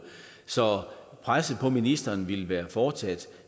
så presset på ministeren ville være fortsat